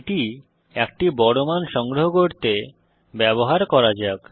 এটি একটি বড় মান সংগ্রহ করতে ব্যবহার করা যাক